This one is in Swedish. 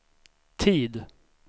tid